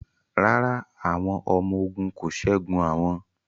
Rárá, àwọn ọmọ ogun kò ṣẹ́gun àwọn